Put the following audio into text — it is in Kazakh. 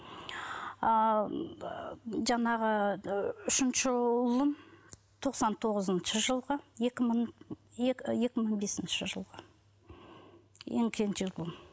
ал жаңағы ыыы үшінші ұлым тоқсан тоғызыншы жылғы екі мың бесінші жылғы ең кенже ұлым